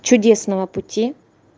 чудесного пути